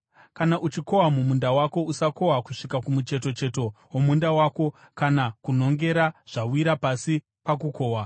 “ ‘Kana uchikohwa mumunda wako usakohwa kusvika kumuchetocheto womunda wako, kana kunhongera zvawira pasi pakukohwa.